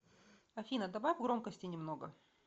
афина добавь громкости немного